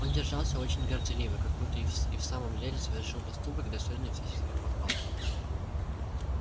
он держался очень горделиво как будто и в самом деле совершил поступок достойный всяческих похвал